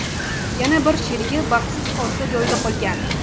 Yana bir sherigi baxtsiz hodisa joyida qolgan.